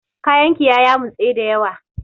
Kayan ki ya yamutse dayawa.